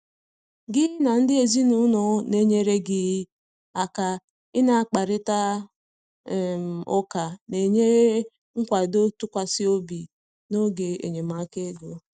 gị na ndị ezinụlọ na enyere gị aka ị na akparita um ụka na enyere ikwado ntụkwasị obi n'oge enyemaka ego